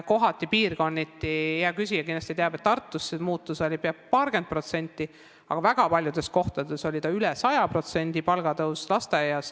Hea küsija kindlasti teab, et Tartus oli see muutus peaaegu paarkümmend protsenti, aga väga paljudes kohtades oli lasteaias palgatõus üle 100%.